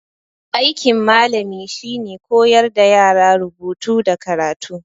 Aikin malami shine koyar da yara rubutu da karatu